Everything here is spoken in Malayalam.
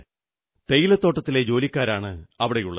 തേയിലത്തോട്ടത്തിലെ ജോലിക്കാരാണ് അവിടെയുള്ളത്